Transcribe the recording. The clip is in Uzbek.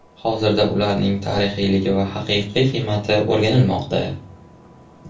Hozirda ularning tarixiyligi va haqiqiy qiymati o‘rganilmoqda.